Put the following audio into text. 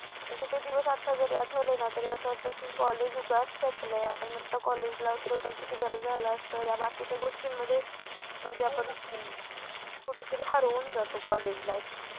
अगं ते दिवस आता जरी आठवले ना तरी असं वाटतं की कॉलेज उगाच संपलाय आपण आता कॉलेजला असतो तर किती बरं झालं असतं या बाकीच्या गोष्टींमध्ये म्हणजे आपण कुठेतरी हरवून जातो कॉलेज लाईफ